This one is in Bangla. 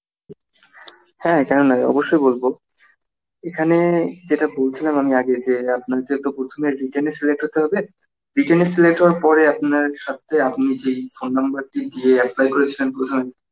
হ্যাঁ কেন নয় অবশ্যই বলব এখানে যেটা বলছিলাম আমি আগে আপনার যত প্রথমে written এ select হতে হবে, written এ select হওয়ার পরে আপনার সত্তে আপনি যেই phone number টা দিয়ে apply করেছিলেন প্রথমে